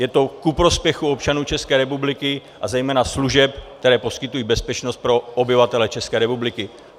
Je to ku prospěchu občanů České republiky a zejména služeb, které poskytují bezpečnost pro obyvatele České republiky.